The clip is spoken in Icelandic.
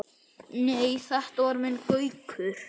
Nei, þetta var minn Gaukur.